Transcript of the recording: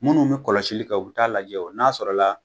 Munnu bi kɔlɔsili kɛ u bi t'a lajɛ o n'a sɔrɔla la